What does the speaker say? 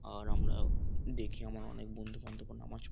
আর আমরাও দেখি আমার অনেক বন্ধুবান্ধবও নামাজ --